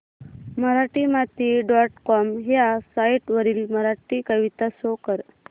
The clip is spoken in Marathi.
मराठीमाती डॉट कॉम ह्या साइट वरील मराठी कविता शो कर